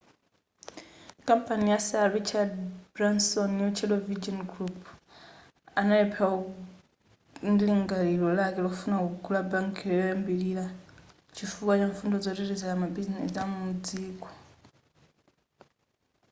kampani ya sir richard branson yotchedwa virgin group analemphera ndi lingaliro lake lofuna kugula bank koyambilira chifukwa cha mfundo zoteteza mabizinesi amudziko